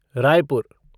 Raipur